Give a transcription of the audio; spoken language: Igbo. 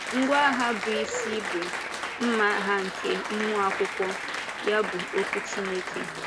Ngwá agha bụ́ isi bụ “mmà agha nke mmụọ Akwụkwọ,” ya bụ, okwú Chineke.